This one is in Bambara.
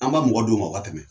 An b'a mɔgɔ d'u ma u ka tɛmɛ.